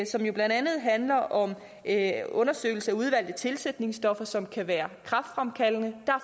som jo blandt andet handler om en undersøgelse af udvalgte tilsætningsstoffer som kan være kræftfremkaldende der